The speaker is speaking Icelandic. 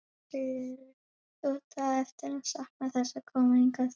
Sigríður: Þú átt eftir að sakna þess að koma hingað?